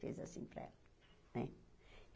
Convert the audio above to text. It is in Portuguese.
Fez assim para ela né.